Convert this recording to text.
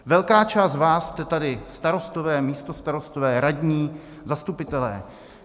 Velká část z vás jste tady starostové, místostarostové, radní, zastupitelé.